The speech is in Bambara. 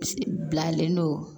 Bilalen don